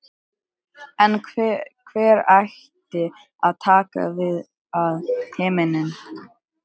En hver ætti að taka við af Heimi?